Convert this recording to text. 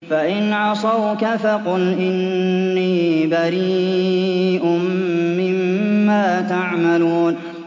فَإِنْ عَصَوْكَ فَقُلْ إِنِّي بَرِيءٌ مِّمَّا تَعْمَلُونَ